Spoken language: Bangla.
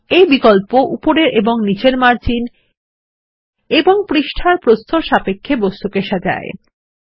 এই বিকল্প উপরের এবং নীচের মার্জিন এবং পৃষ্ঠার প্রস্থের সাপেক্ষে বস্তুকে সাজায়